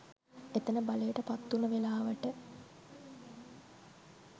එතන බලයට පත්වුණ වෙලවට